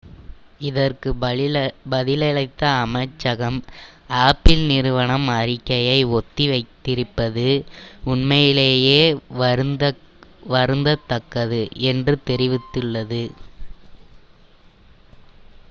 "இதற்கு பதிலளித்த அமைச்சகம் apple நிறுவனம் அறிக்கையை ஒத்திவைத்திருப்பது "உண்மையிலேயே வருந்தத்தக்கது" என்று தெரிவித்துள்ளது.